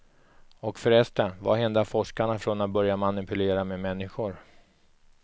Och förresten, vad hindrar forskarna från att börja manipulera med människor.